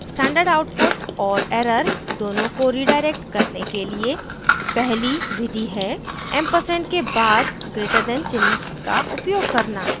standard output और error दोनों को redirect करने के लिए पहली विधि है &> ampersand के बाद greaterthan चिन्ह का उपयोग करना